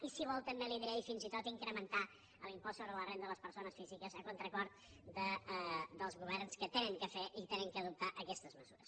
i si vol també li ho diré i fins i tot incrementar l’impost sobre la renda de les persones físiques a contracor dels governs que han de fer i han d’adoptar aquestes mesures